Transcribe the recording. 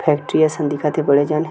factory असन दिखा थे बड़े जान--